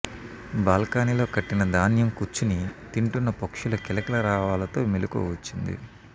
balcony లో కట్టిన ధాన్యం కుచ్చు ని తింటున్న పక్షుల కిలకిల రావాలతో మెలుకువ వచ్చింది